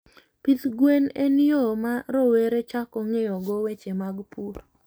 Pidh gwen en yo ma rowere chako ng'eyogo weche mag pur.